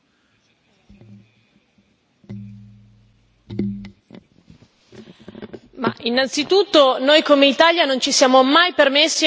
Innanzitutto noi, come Italia, non ci siamo mai permessi e non penseremmo mai di costruire un muro, questo è il significato che noi diamo al concetto di solidarietà.